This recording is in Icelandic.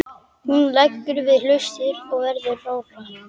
Hún leggur við hlustirnar og verður rórra.